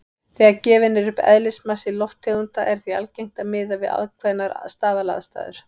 Þegar gefinn er upp eðlismassi lofttegunda er því algengt að miða við ákveðnar staðalaðstæður.